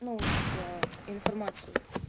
ну типа информацию